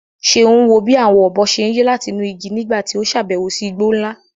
Ṣeun wo bí àwọn ọ̀bọ ṣe ń yí láti inú igi nígbà tí ó ṣàbẹ̀wò sí igbó ńlá.